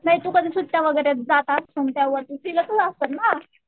नाही तू सुट्ट्याला वगैरे जात असण तर फिरतच असण ना.